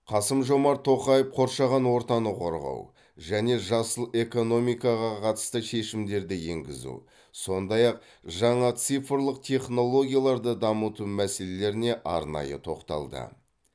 қасым жомарт тоқаев қоршаған ортаны қорғау және жасыл экономикаға қатысты шешімдерді енгізу сондай ақ жаңа цифрлық технологияларды дамыту мәселелеріне арнайы тоқталды